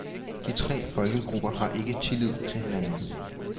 De tre folkegrupper har ikke tillid til hinanden.